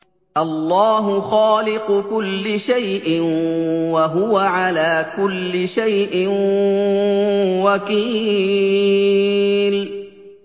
اللَّهُ خَالِقُ كُلِّ شَيْءٍ ۖ وَهُوَ عَلَىٰ كُلِّ شَيْءٍ وَكِيلٌ